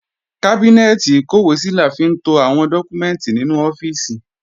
Kábínẹ́ẹ̀tì ìkọ́wèésí la fi ń to àwọn dọ́kúmẹ́ǹtì nínú ọ́fíìsì